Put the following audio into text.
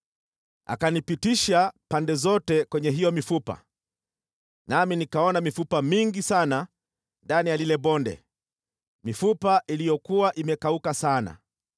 Akanipitisha pande zote kwenye hiyo mifupa, nami nikaona mifupa mingi sana ndani ya lile bonde, mifupa iliyokuwa imekauka sana.